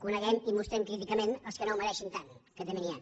coneguem i mostrem críticament els que no ho mereixin tant que també n’hi han